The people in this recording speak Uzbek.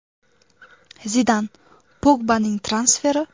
Zidan: Pogbaning transferi?